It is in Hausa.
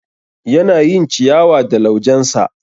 Yana yin ciyawa da laujensa